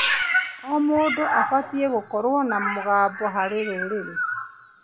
O mũndũ abatiĩ gũkorwo na mũgambo harĩ rũrĩrĩ.